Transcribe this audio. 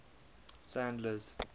sandler's